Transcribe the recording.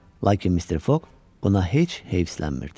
Lakin Mister Foq buna heç heyslənmmirdi.